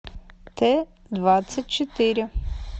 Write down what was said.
т двадцать четыре